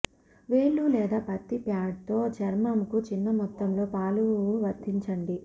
వేళ్లు లేదా పత్తి ప్యాడ్ తో చర్మంకు చిన్న మొత్తంలో పాలు వర్తించండి